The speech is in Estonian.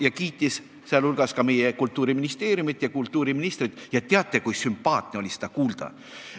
Ta kiitis väga meie Kultuuriministeeriumit ja kultuuriministrit ning teate, kui hea meel oli seda kuulda.